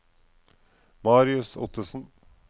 Marius Ottesen